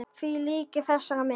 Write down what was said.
Því lýkur með þessari mynd.